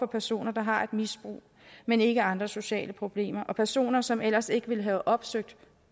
personer der har et misbrug men ikke andre sociale problemer og personer som ellers ikke ville have opsøgt